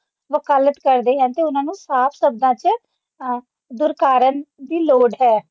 ਵਕਾਲਤ ਕਰਦੇ ਹਨ ਅਤੇ ਉਨ੍ਹਾਂ ਨੂੰ ਸਾਫ਼ ਚ ਦੁਰਕਾਰਨ ਦੀ ਲੋੜ ਹੈ